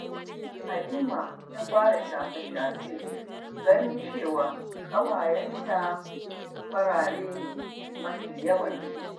Halima ta fara shafe-shafe ganin cewa ƙawayenta farare ne mafi yawansu.